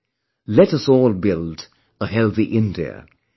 Come, let us all build a healthy India